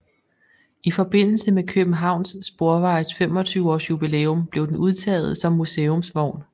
I forbindelse med Københavns Sporvejes 25 års jubilæum blev den udtaget som museumsvogn